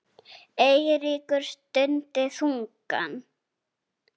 Eiríkur stundi þungan.